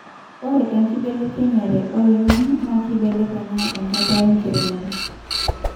Ore enkibelekenyere oloingange naa keibelekeny enkata enkiremore